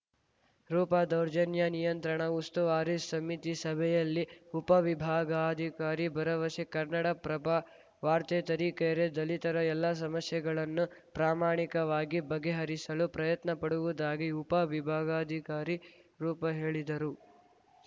ರೂಪಾ ದೌರ್ಜನ್ಯ ನಿಯಂತ್ರಣ ಉಸ್ತುವಾರಿ ಸಮಿತಿ ಸಭೆಯಲ್ಲಿ ಉಪವಿಭಾಗಾಧಿಕಾರಿ ಭರವಸೆ ಕನ್ನಡಪ್ರಭ ವಾರ್ತೆ ತರೀಕೆರೆ ದಲಿತರ ಎಲ್ಲ ಸಮಸ್ಯೆಗಳನ್ನು ಪ್ರಾಮಾಣಿಕವಾಗಿ ಬಗೆಹರಿಸಲು ಪ್ರಯತ್ನಪಡುವುದಾಗಿ ಉಪ ವಿಭಾಗಾಧಿಕಾರಿ ರೂಪಾ ಹೇಳಿದರು